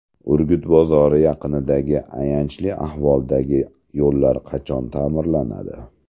Urgut bozori yaqinidagi ayanchli ahvoldagi yo‘llar qachon ta’mirlanadi?